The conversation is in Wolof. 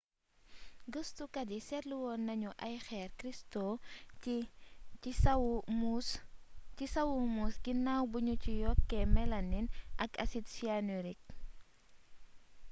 gëstukat yi seetlu nañu ay xeer cristaux ci sawu muus ginaaw bi ñu ci yokkee mélamine ak acide cyanurique